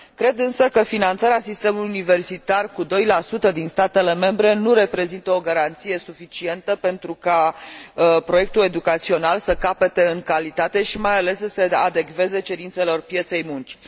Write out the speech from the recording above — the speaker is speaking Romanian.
Cred, însă, că finanțarea sistemului universitar cu 2 din statele membre nu reprezintă o garanție suficientă pentru ca proiectul educațional să capete în calitate și mai ales să se adecveze cerințelor pieței muncii.